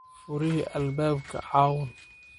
Furixi albabka cawun?